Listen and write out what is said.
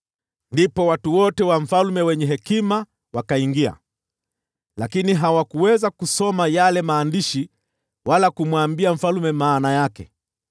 Ndipo watu wote wa mfalme wenye hekima wakaingia, lakini hawakuweza kusoma yale maandishi wala kumwambia mfalme maana yake.